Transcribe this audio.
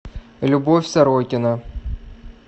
любовь сорокина